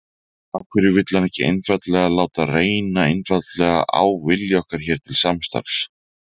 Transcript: Af hverju vill hann ekki einfaldlega láta reyna einfaldlega á vilja okkar hér til samstarfs?